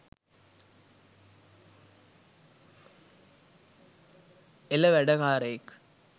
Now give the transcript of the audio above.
එල වැඩකාරයෙක්